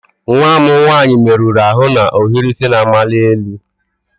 Nwa m nwanyị merụrụ ahụ na ohiri isi na-amali elu.